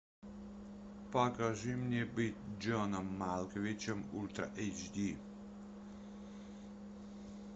покажи мне быть джоном малковичем ультра эйч ди